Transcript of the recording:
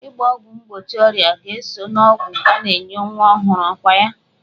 Ịgba ọgwụ mgbochi ọrịa ga-eso n'ọgwụ a na-enye nwa ọhụrụ, ọkwa ya?